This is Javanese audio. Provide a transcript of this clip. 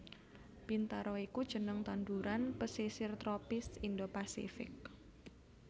Bintaro iku jeneng tanduran pesisir tropis Indo Pasifik